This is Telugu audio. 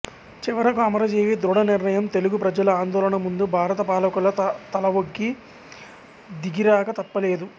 చివరకు అమరజీవి దృఢ నిర్ణయం తెలుగు ప్రజల ఆందోళన ముందు భారత పాలకులు తలవొగ్గి దిగిరాక తప్పలేదు